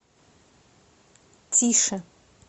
тише